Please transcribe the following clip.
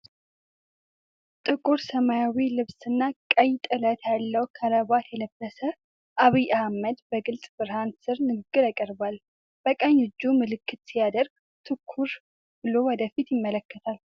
ጥቁር ሰማያዊ ልብስና ቀይ ጥለት ያለው ክራባት የለበሰ አብይ አህመድ በግልጽ ብርሃን ስር ንግግር ያቀርባል። በቀኝ እጁ ምልክት ሲያደርግ፣ ትኩር ብሎ ወደ ፊት ይመለከታል።